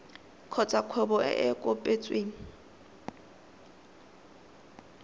kgotsa kgwebo e e kopetsweng